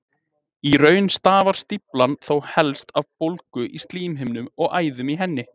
Í raun stafar stíflan þó helst af bólgu í slímhimnu og æðum í henni.